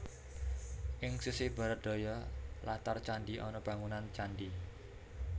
Ing sisih Barat Daya latar candhi ana bangunan candhi